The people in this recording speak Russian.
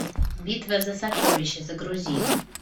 битва за сокровища загрузи